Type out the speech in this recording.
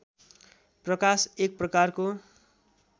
प्रकाश एकप्रकारको